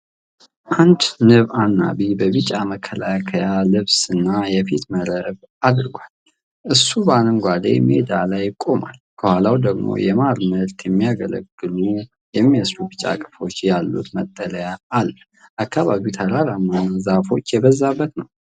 አንድ ንብ አናቢ በቢጫ መከላከያ ልብስ እና የፊት መረብ አድጓል። እሱ በአረንጓዴ ሜዳ ላይ ቆሟል፣ ከኋላው ደግሞ ለማር ምርት የሚያገለግሉ የሚመስሉ ቢጫ ቀፎዎች ያሉት መጠለያ አለ። አካባቢው ተራራማና ዛፎች የበዛበት ነው።